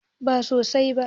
Ba sosai ba.